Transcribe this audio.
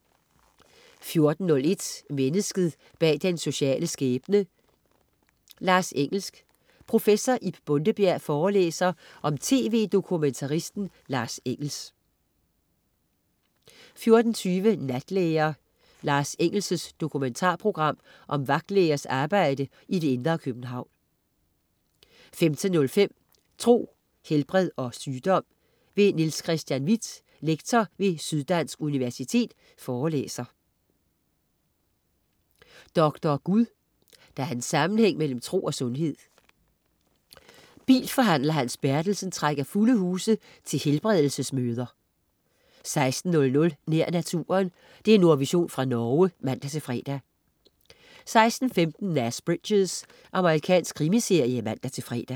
14.01 Mennesket bag den sociale skæbne. Lars Engels. Prof. Ib Bondebjerg forelæser om tv-dokumtaristen Lars Engels 14.20 Natlæger. Lars Engels' dokumentarprogram om vagtlægers arbejde i det indre København 15.05 Tro, helbred og sygdom. Niels Chr. Hvidt, lektor ved Syddansk Universitet forelæser 15.30 Doktor Gud. Der er en sammenhæng mellem tro og sundhed. Bilforhandler Hans Berntsen trækker fulde huse til helbredelsesmøder 16.00 Nær naturen. Nordvision fra Norge (man-fre) 16.15 Nash Bridges. Amerikansk krimiserie (man-fre)